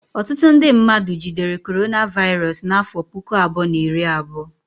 Ọtụtụ ndị mmadụ jidere Coronavirus n'afọ puku abụọ na iri abụọ